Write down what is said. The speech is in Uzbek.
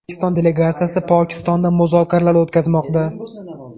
O‘zbekiston delegatsiyasi Pokistonda muzokaralar o‘tkazmoqda.